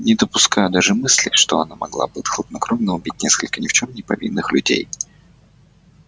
не допускаю даже мысли что она могла бы хладнокровно убить несколько ни в чём не повинных людей